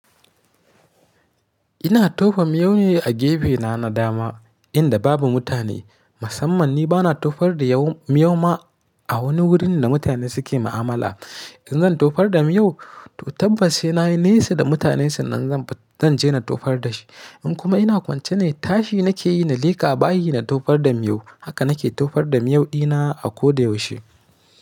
Ina tofa miyau ne a gefe na na dama inda babu mutane. Musamman ni bana tofar da miyau ma a wani wurin da mutane suke mu'amala. In zan tofar da miyau, to tabbas sai nayi nesa da mutane sannan zan je na tofar da shi. In kuma ina kwance ne tashi nake yi na leka bayi na tofar da miyau. Haka na ke tofar da miyau ɗina a ko da yaushe.